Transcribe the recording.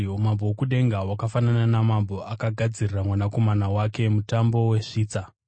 “Umambo hwokudenga hwakafanana namambo akagadzirira mwanakomana wake mutambo wesvitsa.